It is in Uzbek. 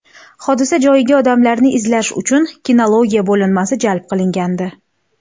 Hodisa joyiga odamlarni izlash uchun kinologiya bo‘linmasi jalb qilingandi.